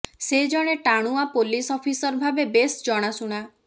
ସେ ଜଣେ ଟାଣୁଆ ପୋଲିସ୍ ଅଫିସର ଭାବେ ବେସ୍ ଜଣାଶୁଣା